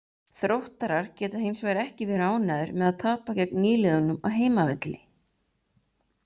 Þróttarar geta hinsvegar ekki verið ánægðir með að tapa gegn nýliðunum á heimavelli.